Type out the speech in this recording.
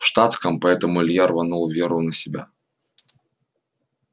в штатском поэтому илья рванул веру на себя